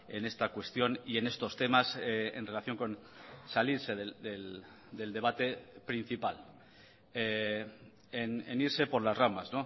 en esta cuestión y en estos temas en relación con salirse del debate principal en irse por las ramas